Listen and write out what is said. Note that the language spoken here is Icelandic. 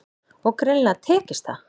Og greinilega tekist það.